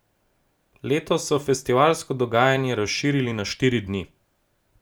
Letos so festivalsko dogajanje razširili na štiri dni.